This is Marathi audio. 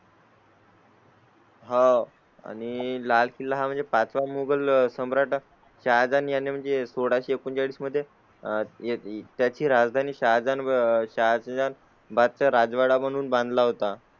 हां आणि लाल किल्ला म्हणजे पाचवा मोगल सम्राटा च्या जाण्या ने म्हणजे सोडाच. सोळाशे एकोणचाळीस मध्ये आह याची राजधानी सह जळून बात राजवाडा म्हणून बांधला होता.